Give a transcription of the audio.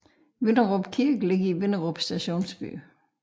Vinderup Kirke ligger i Vinderup stationsby